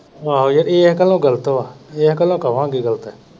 ਆਹੋ ਯਾਰ ਇਹ ਗੱਲੋ ਗ਼ਲਤ ਵਾ ਇਹ ਗੱਲੋ ਕਵਾਗੇ ਗ਼ਲਤ ਏ।